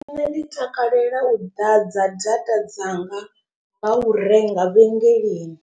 Nṋe ndi takalela u ḓadza data dzanga nga u renga vhengeleni.